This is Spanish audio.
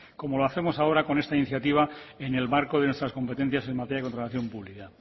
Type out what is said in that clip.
como lo hacemos ahora con esta iniciativa en el marco de nuestras competencias en materia de contratación pública